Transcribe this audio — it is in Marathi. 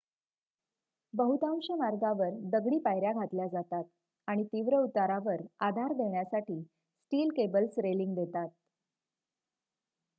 बहुतांश मार्गावर दगडी पायर्‍या घातल्या जातात आणि तीव्र उतारावर आधार देण्यासाठी स्टील केबल्स रेलिंग देतात